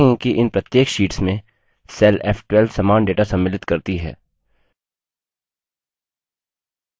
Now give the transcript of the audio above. हम देखेंगे कि इन प्रत्येक शीट्स में cell f12 समान data सम्मिलित करती है